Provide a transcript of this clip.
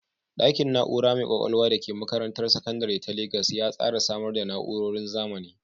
Ɗakin na’ura mai ƙwaƙwalwa da ke makarantar sakandare ta Legas ya tsara samar da na’urorin zamani